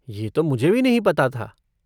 ये तो मुझे भी नहीं पता था।